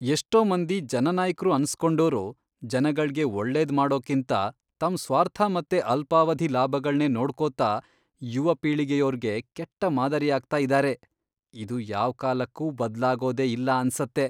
ಎಷ್ಟೋ ಮಂದಿ ಜನನಾಯಕ್ರು ಅನ್ಸ್ಕೊಂಡೋರು ಜನಗಳ್ಗೆ ಒಳ್ಳೇದ್ ಮಾಡೋಕ್ಕಿಂತ ತಮ್ ಸ್ವಾರ್ಥ ಮತ್ತೆ ಅಲ್ಪಾವಧಿ ಲಾಭಗಳ್ನೇ ನೋಡ್ಕೊತಾ ಯುವಪೀಳಿಗೆಯೋರ್ಗೆ ಕೆಟ್ಟ ಮಾದರಿಯಾಗ್ತಾ ಇದಾರೆ, ಇದು ಯಾವ್ಕಾಲಕ್ಕೂ ಬದ್ಲಾಗೋದೇ ಇಲ್ಲ ಅನ್ಸತ್ತೆ.